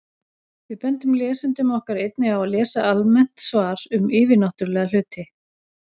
Við bendum lesendum okkar einnig á að lesa almennt svar um yfirnáttúrulega hluti.